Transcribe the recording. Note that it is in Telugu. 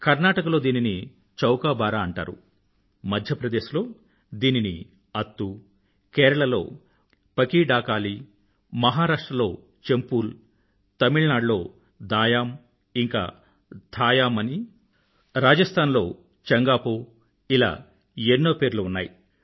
కర్నాటక లో దీనిని చౌకాబారా అంటారు మధ్య ప్రదేశ్ లో దీనిని అత్తు కేరళలో పకీడాకాలీ మహారాష్ట్ర లో చంపూల్ తమిళ్నాడులో దాయామ్ ఇంకా థాయామ్ అనీ రాజస్థాన్ లోచంగాపో ఇలా ఎన్నో పేర్లు ఉన్నాయి